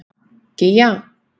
Gígja